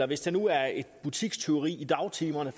hvis det nu er et butikstyveri i dagtimerne